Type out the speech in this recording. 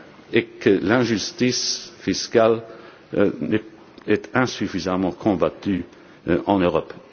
débat est que l'injustice fiscale est insuffisamment combattue en Europe.